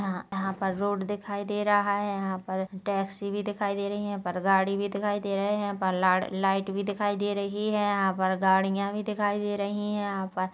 यह यहाँ पर रोड दिखाई दे रहा है यहाँ पर टैक्सी भी दिखाई दे रही है यहाँ पर गाड़ी भी दिखाई दे रहे है यहाँ पर लाड़ लाइट भी दिखाई दे रही है यहाँ पर गाड़ियां भी दिखाई दे रही है यहाँ पर--